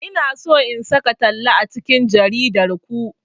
Ina so in saka talla a cikin jaridar ku.